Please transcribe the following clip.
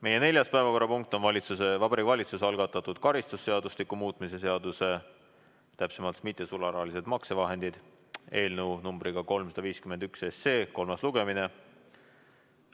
Meie neljas päevakorrapunkt on Vabariigi Valitsuse algatatud karistusseadustiku muutmise seaduse eelnõu 351 kolmas lugemine.